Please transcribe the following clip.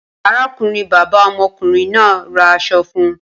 Arákùnrin-bàbá ọmọkùnrin náà ra aṣọ fún un.